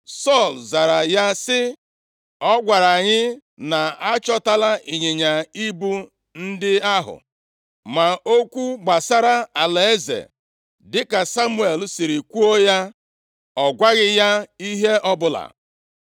Sọl zara ya sị, “Ọ gwara anyị na a chọtala ịnyịnya ibu ndị ahụ.” Ma okwu gbasara alaeze, dịka Samuel siri kwuo ya, ọ gwaghị ya ihe ọbụla.